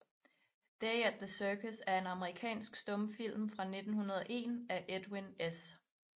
Day at the Circus er en amerikansk stumfilm fra 1901 af Edwin S